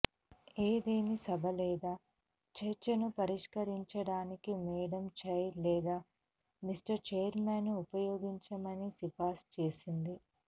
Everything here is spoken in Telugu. ఏదేని సభ లేదా చర్చను పరిష్కరించడానికి మేడం చైర్ లేదా మిస్టర్ ఛైర్మన్ను ఉపయోగించమని సిఫార్సు చేసింది